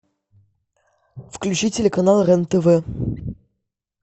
включи телеканал рен тв